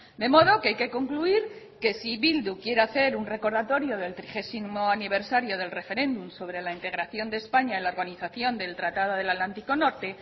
de modo que hay que concluir que si bildu quiere hacer un recordatorio del trigésimo aniversario del referéndum sobre la integración de españa en la organización del tratado del atlántico norte